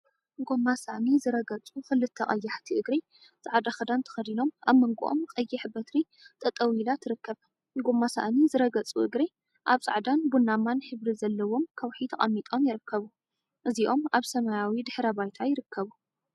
8. ጎማ ሳእኒ ዝረገፁ ክልተ ቀያሕቲ እግሪ ፃዕዳ ክዳን ተከዲኖም አብ መንጎኦም ቀይሕ በትሪ ጠጠው ኢላ ትርከብ፡፡ ጎማ ሳእኒ ዝረገፁ እግሪ አብ ፃዕዳን ቡናማን ሕብሪ ዘለዎም ከውሒ ተቀሚጦም ይርከቡ፡፡ እዚኦም አብ ሰማያዊ ድሕረ ባይታ ይርከቡ።